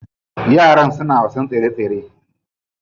Yaran suna wasan tsere tsere.